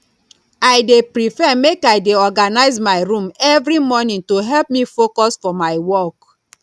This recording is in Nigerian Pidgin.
i dey prefer make i dey organize my room every morning to help me focus for my work